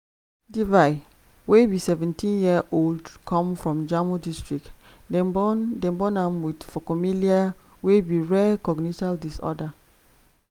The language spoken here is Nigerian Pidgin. devi wey be seventeen-year-old come from jammu district - dem born dem born am wit phocomelia wey be rare congenital disorder.